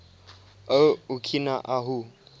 o okina ahu